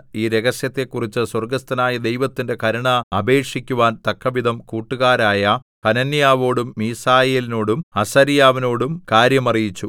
ഈ രഹസ്യത്തെക്കുറിച്ച് സ്വർഗ്ഗസ്ഥനായ ദൈവത്തിന്റെ കരുണ അപേക്ഷിക്കുവാൻ തക്കവിധം കൂട്ടുകാരായ ഹനന്യാവിനോടും മീശായേലിനോടും അസര്യാവിനോടും കാര്യം അറിയിച്ചു